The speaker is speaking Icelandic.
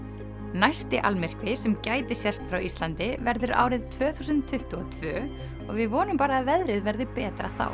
næsti almyrkvi sem gæti sést frá Íslandi verður árið tvö þúsund tuttugu og tvö og við vonum bara að veðrið verði betra þá